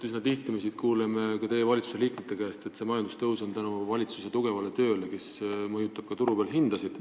Üsna tihti me siin kuuleme ka teie valitsuse liikmete käest, et see majandustõus on tekkinud tänu valitsuse tugevale tööle, et valitsus mõjutab ka turuhindasid.